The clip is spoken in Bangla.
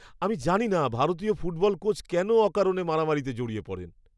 আমি জানি না ভারতীয় ফুটবল কোচ কেন অকারণে মারামারিতে জড়িয়ে পড়েন।